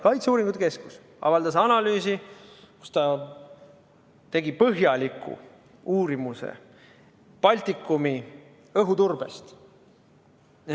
Kaitseuuringute Keskus avaldas analüüsi, olles teinud põhjaliku uuringu Baltikumi õhuturbest.